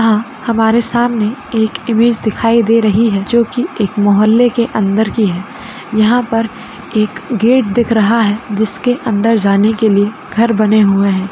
हमारे सामने एक इमेज दिखाई दे रही है जो की एक मोहल्ले के अंदर की है यहां पर एक गेट दिख रहा है जिसके अन्दर जाने के लिए घर बने हुए हैं।